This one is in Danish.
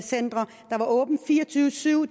åbent fire og tyve syv